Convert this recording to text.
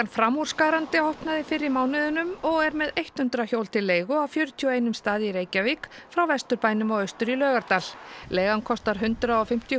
framúrskarandi opnaði fyrr í mánuðinum og er með hundrað hjól til leigu á fjörutíu og einum stað í Reykjavík frá Vesturbænum og austur í Laugardal leigan kostar hundrað og fimmtíu